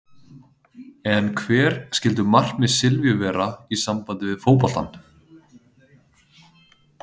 En hver skyldu markmið Silvíu vera í sambandi við fótboltann?